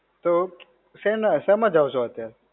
તો, શેમાં, શેમાં જાઓ છો અત્યારે?